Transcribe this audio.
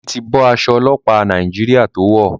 Deji ti bó Aṣọ ọlọpa Nàìjíríà to wọ.